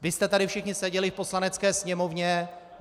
Vy jste tady všichni seděli v Poslanecké sněmovně.